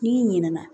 N'i ɲinɛ na